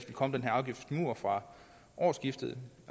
komme den her afgiftsmur fra årsskiftet